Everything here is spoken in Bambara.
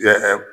Kɛ